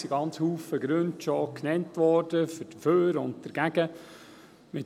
es wurden schon ganz viele Gründe dafür und dagegen genannt.